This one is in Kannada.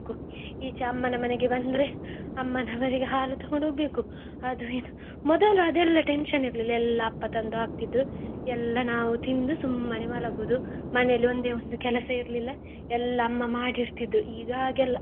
ಈಚೆ ಅಮ್ಮನ ಮನೆಗೆ ಬಂದ್ರೆ ಅಮ್ಮನ ಮನೆಗೆ ಹಾಲು ತೊಕೊಂಡು ಹೋಗ್ಬೇಕು, ಅದು ಇದು ಮೊದಲು ಅದೆಲ್ಲಾ tension ಇರ್ಲಿಲ್ಲ ಎಲ್ಲಾ ಅಪ್ಪ ತಂದು ಹಾಕ್ತಿದ್ರು ಎಲ್ಲ ನಾವು ತಿಂದು ಸುಮ್ಮನೆ ಮಲಗುದು. ಮನೆಯಲ್ಲಿ ಒಂದೇ ಒಂದು ಕೆಲಸ ಇರ್ಲಿಲ್ಲ ಎಲ್ಲ ಅಮ್ಮ ಮಾಡಿ ಇಡ್ತಿದ್ರು ಈಗ ಹಾಗೆ ಅಲ್ಲ.